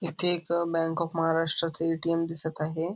इथे एक अ बँक ऑफ महाराष्ट्र च ए.टी.एम. दिसत आहे.